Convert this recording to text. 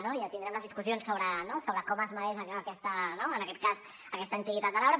no i ja tindrem les discussions sobre com es mesura en aquest cas aquesta antiguitat de l’arbre